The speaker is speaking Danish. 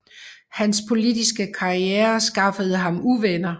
Han politiske karriere skaffede ham uvenner